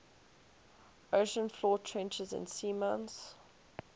ocean floor trenches and seamounts